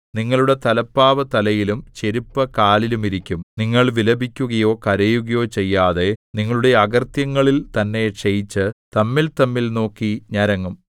നിങ്ങളുടെ തലപ്പാവു തലയിലും ചെരിപ്പ് കാലിലും ഇരിക്കും നിങ്ങൾ വിലപിക്കുകയോ കരയുകയോ ചെയ്യാതെ നിങ്ങളുടെ അകൃത്യങ്ങളിൽ തന്നെ ക്ഷയിച്ച് തമ്മിൽതമ്മിൽ നോക്കി ഞരങ്ങും